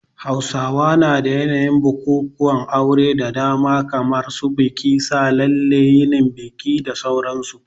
Hausawa na da yanayin bukukuwan auren da dama kamar su bikin sa lalle, yinin biki da sauran su.